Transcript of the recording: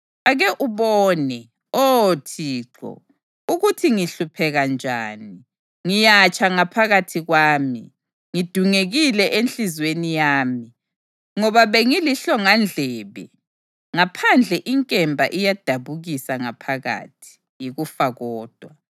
Ake ubone, Oh Thixo, ukuthi ngihlupheka njani! Ngiyatsha ngaphakathi kwami, ngidungekile enhliziyweni yami, ngoba bengilihlongandlebe. Ngaphandle, inkemba iyadabukisa; ngaphakathi, yikufa kodwa.